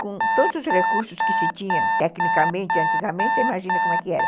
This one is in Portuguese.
Com todos os recursos que se tinha, tecnicamente, antigamente, você imagina como era.